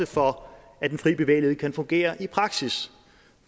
for at den fri bevægelighed kan fungere i praksis